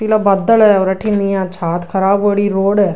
पीला बादल है और अठन इया छात ख़राब होरी रोड है।